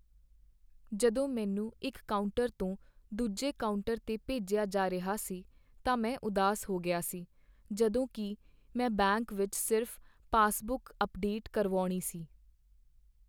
ਜਦੋਂ ਮੈਨੂੰ ਇੱਕ ਕਾਊਂਟਰ ਤੋਂ ਦੂਜੇ ਕਾਊਂਟਰ 'ਤੇ ਭੇਜਿਆ ਜਾ ਰਿਹਾ ਸੀ ਤਾਂ ਮੈਂ ਉਦਾਸ ਹੋ ਗਿਆ ਸੀ ਜਦੋਂ ਕਿ ਮੈਂ ਬੈਂਕ ਵਿੱਚ ਸਿਰਫ਼ ਪਾਸਬੁੱਕ ਅੱਪਡੇਟ ਕਰਵਾਉਣੀ ਸੀ।